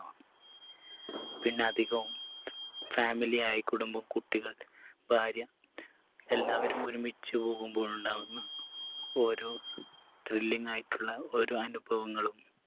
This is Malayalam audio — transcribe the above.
പിന്ന അധികവും family ആയി കുടുംബം കുട്ടികൾ ഭാര്യ എല്ലാവരും ഒരുമിച്ച് പോകുമ്പോഴുണ്ടാകുന്ന ഓരോ thrilling ആയിട്ടുള്ള ഓരോ അനുഭവങ്ങളും